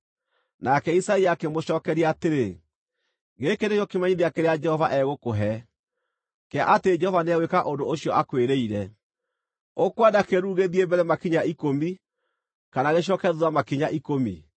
Nake Isaia akĩmũcookeria atĩrĩ, “Gĩkĩ nĩkĩo kĩmenyithia kĩrĩa Jehova egũkũhe, kĩa atĩ Jehova nĩegwĩka ũndũ ũcio akwĩrĩire: Ũkwenda kĩĩruru gĩthiĩ mbere makinya ikũmi, kana gĩcooke thuutha makinya ikũmi?”